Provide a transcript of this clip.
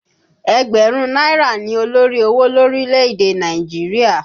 Ẹgbẹ̀rún náírà ni olórí owó lórílẹ̀ èdè Nàìjíríà